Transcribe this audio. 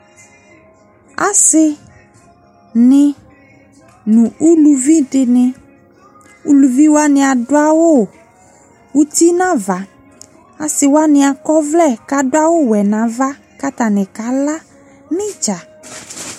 Ase ne no uluvi de ne Uluvi wane ado awu uti no ava Ase wane akɔ ɔvlɛ ka do awuwɛ no ava ko atane kala no idza